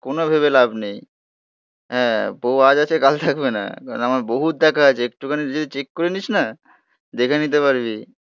কোন ভেবে লাভ নেই হ্যাঁ, বউ আজ আছে, কাল থাকবে না, কারণ আমার বহুৎ দেখা আছে, একটুখানি চেক করে নিস না. দেখে নিতে পারবি.